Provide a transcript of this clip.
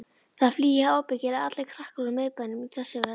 Það flýja ábyggilega allir krakkar úr miðbænum í þessu veðri.